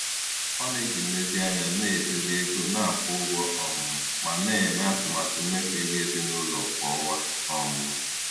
Ọ na-eji nlezianya na-edozi ego na-akwụ ụgwọ um ma na-eme atụmatụ mmefu ego ezinụlọ kwa ọnwa. um